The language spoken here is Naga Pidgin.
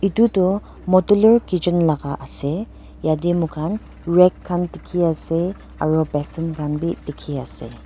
edu toh modeller kitchen laka ase yatae moi khan rag khan dikhi ase aro basen khan bi dikhiase.